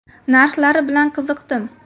Narxlari bilan qiziqdim.